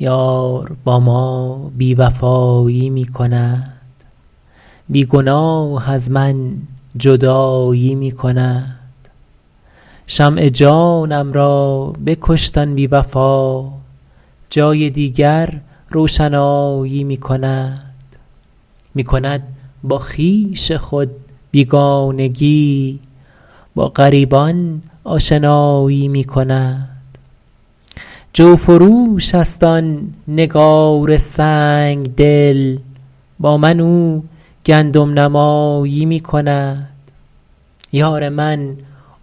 یار با ما بی وفایی می کند بی گناه از من جدایی می کند شمع جانم را بکشت آن بی وفا جای دیگر روشنایی می کند می کند با خویش خود بیگانگی با غریبان آشنایی می کند جوفروش است آن نگار سنگ دل با من او گندم نمایی می کند یار من